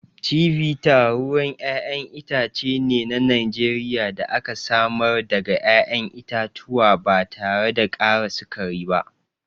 Chivita ruwan ƴaƴan itace ne na Najeriya da aka samar daga ƴaƴan itatuwa ba tare da ƙara sukari ba.